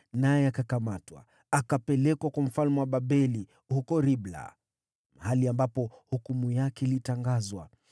naye akakamatwa. Akapelekwa kwa mfalme wa Babeli huko Ribla, mahali ambapo hukumu yake ilitangazwa.